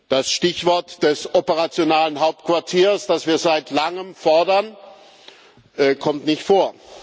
Das Stichwort des operativen Hauptquartiers, das wir seit Langem fordern, kommt nicht vor.